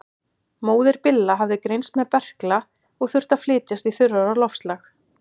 Móðir Billa hafði greinst með berkla og þurfti að flytjast í þurrara loftslag.